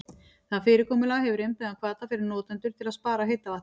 Það fyrirkomulag hefur innbyggðan hvata fyrir notendur til að spara heita vatnið.